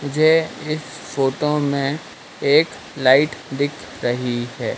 मुझे इस फोटो में एक लाइट दिख रही है।